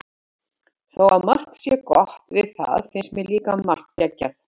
Þó að margt sé gott við það finnst mér líka margt geggjað.